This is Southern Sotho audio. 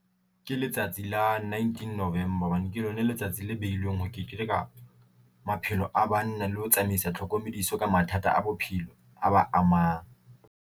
Ke letsatsi la nineteen November hobane ke lona letsatsi le behilweng, ho keteka maphelo a banna le ho tsamaisa tlhokomediso ka mathata a bophelo a ba amang.